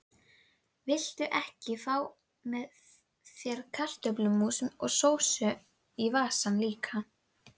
Viltu ekki fá þér kartöflumús og sósu í vasann líka?